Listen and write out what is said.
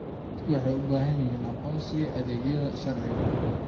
Dadku waxay u baahan yihiin aqoonsiga adeegyada sharciga.